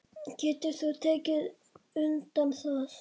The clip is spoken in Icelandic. Getur þú tekið undir það?